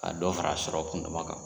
Ka dɔ fara sɔrɔ kunduma kan.